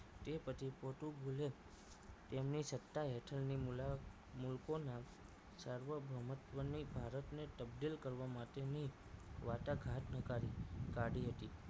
તે પછી પોર્ટુગીઝે તેમની સત્તા હેઠળની મૂલા મુલકોના સાર્વ ભૌમત્વની ભારતને તકદીલ કરવા માટેની વાટાઘાટ નીકાળી કાઢી હતી